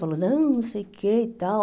Falou, não, não sei o que e tal.